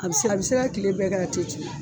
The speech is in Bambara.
A bɛ se a bɛ se ka kile bɛɛ k'a tɛ ci.